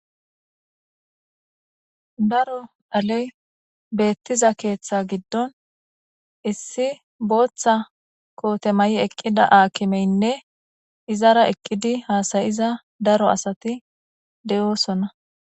Daro dhaley bettiza keththa giddon issi booththa mayo maayii eeqida haakimeyinne izara eeqiddi hassayiza asati de'iossonna